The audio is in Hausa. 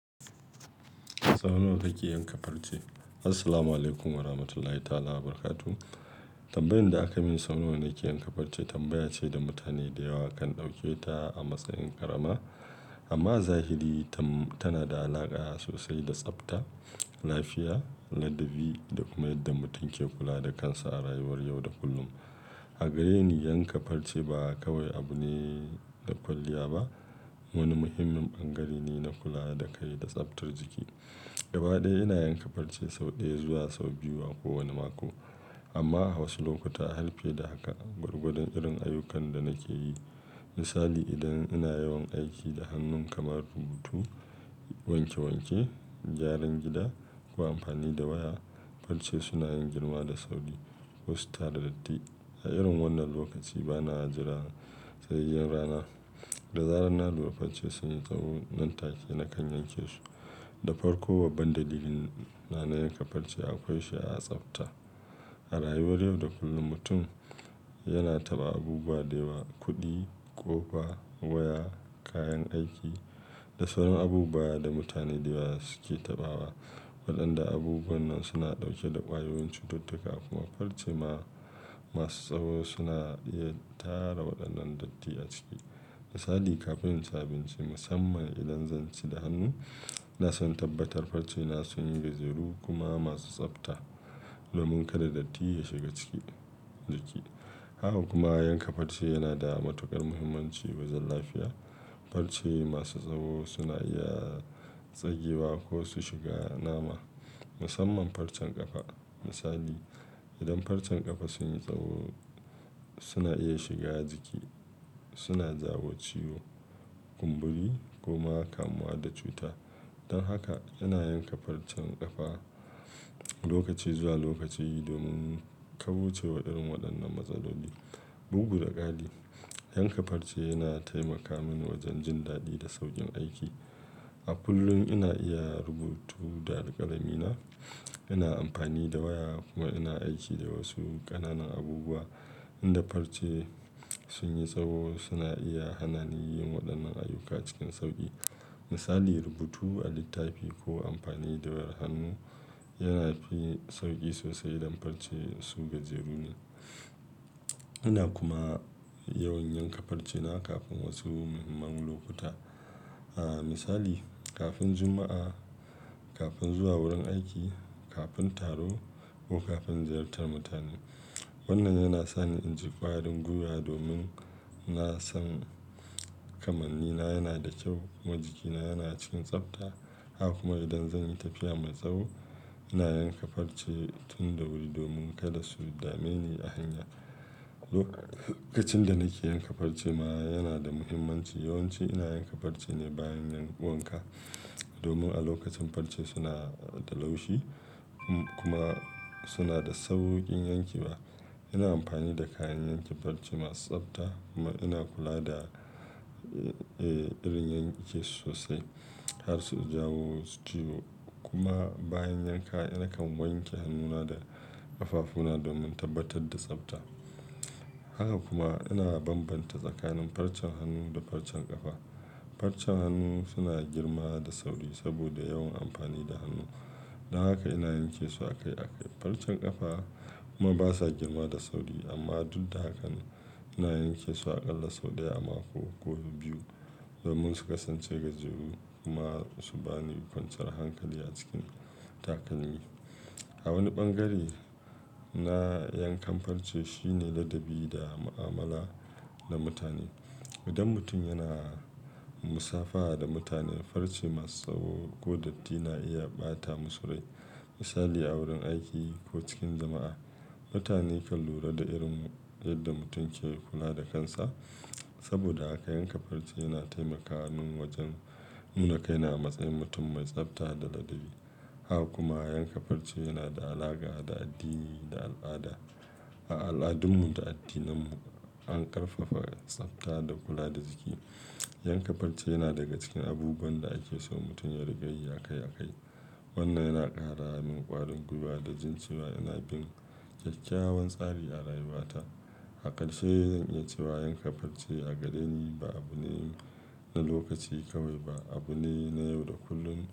Sau nawa kake yanka farce? Assalamualaikum Warahmatullahi Ta'ala Wabarakatuh. Tambayan da akayi min, sau nawa nake yanka farce, tambaya ce da mutane da yawa kan ɗauke ta a matsayin karama. Amma a zahiri tam--tana da alaƙa sosai da tsabta, lafiya, ladabi da kuma yadda mutum ke kula da kansa a rayuwar yau da kullum. A gare ni, yanka farce ba kawai abu ne na kwalliya ba, wani muhimmin ɓangare ne na kula da kai da tsabtar jiki. Gaba ɗaya ina yanka farce sau ɗaya zuwa sau biyu a ko wani mako. Amma a wasu lokuta har fiye da haka, gwargwadon irin ayyukan da nake yi. Misali, idan ina yawan aiki da hannu kamar rubutu, wanke wanke, gyaran gida ko amfani da waya, farce suna yin girma da sauri ko su tara datti. A irin wannan lokaci bana jira tsayayyen rana da zaran na lura farce sun yi tsawo nan take na kan yanke su. Da farko, babban dalilin na na yanka farce akwai shi a tsabta. A rayuwar yau da kullum, mutum yana taɓa abubuwa da yawa, kuɗi, ƙofa, waya, kayan aiki da sauran abubuwa da mutane da yawa suke taɓawa. Waɗanda abubuwan nan suna ɗauke da ƙwayoyin cututtuka kuma farce ma--masu tsawo suna iya tara waɗannan datti a ciki. Misali, kafin inci abinci, musamman idan zan ci da hannu, ina son in tabbatar farce na sun yi gajeru kuma masu tsafta domin kada datti ya shiga cikin jiki. Haka kuma yanka farce yana da matuƙar muhimmanci wajen lafiya. Farce masu tsawo suna iya tsagewa ko su shiga nama, musamman farcen ƙafa. Misali, idan farcen ƙafa sun yi tsawo suna iya shiga jiki, suna jawo ciwo, kumburi kuma kamuwa da cuta. Don haka ina yanka farcen ƙafa lokaci zuwa lokaci domin kaucewa irin waɗannan matsaloli. Bugu da ƙari, yanka farce yana taimaka mini wajen jin daɗi da sauƙin aiki. A kullum ina iya rubutu da alƙalami na, ina amfani da waya kuma ina aiki da wasu ƙananan abubuwa. In da farce sun yi tsawo suna iya hana ni yin waɗannan ayyuka cikin sauƙi. Misali, rubutu a littafi ko amfani da wayar hannu yana fi sauƙi sosai idan farce su gajeru ne. Ina kuma yawan yanka farce na kafin wasu muhimman lokuta. A misali, kafin Juma'a, kafin zuwa wurin aiki, kafin taro ko kafin ziyartar mutane. Wannan yana sani in ji ƙwarin gwiwa domin na san kamanni na yana da kyau kuma jikina yana cikin tsabta. Haka kuma idan zan yi tafiya mai tsawo ina yanka farce tun da wuri domin kada su dame ni a hanya. Lokacin da nake yanka farce ma yana da mahimmanci. Yawan ci ina yanka farce ne bayan yin wanka domin a lokacin farce suna da laushi kuma suna da saukin yanke wa. Ina amfani da kayan yanke farce masu tsafta kuma ina kula da, eh, irin yanke su sosai. Kar su jawo wasu ciwo kuma bayan yanka nakan wanke hannuna da ƙafafuna domin tabbatar da tsafta. Haka kuma ina bambanta tsakanin farcen hannu da farcen ƙafa. Farcen hannu suna girma da sauri saboda yawan amfani da hannu. Don haka ina yanke su akai akai. Farcen ƙafa kuma basa girma da sauri amma duk da hakan ina yanke su aƙalla sau ɗaya a mako ko biyu domin su kasance gajeru kuma su bani kwanciyar hankali a cikin takalmi. A wani ɓangare na yankan farce shine ladabi da mu'amala da mutane. Idan mutum yana musafaha da mutane, farce masu tsawo ko datti na iya ɓata musu rai. Misali, a wurin aiki ko cikin jama'a, mutane kan lura da irin yadda mutum yake kula da kansa. Saboda haka yanka farce yana taimaka min wajen nuna kaina a matsayin mutum mai tsafta da ladabi. Haka kuma yanka farce yana da alaƙa da addini da al'ada. A al'adunmu da addininmu an ƙarfafa tsafta da kula da jiki. Yanka farce yana daga cikin abubuwan da ake so mutum ya riƙa yi akai akai. Wannan yana ƙara min ƙwarin gwiwa da jin cewa ina bin ƙyaƙƙyawan tsari a rayuwata. A ƙarshe zan iya cewa yanka farce a gare ni ba abu ne na lokaci kawai ba, abu ne na yau da kullum.